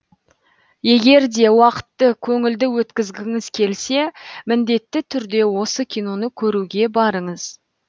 егер де уақытты көңілді өткізгіңіз келсе міндетті түрде осы киноны көруге барыңыз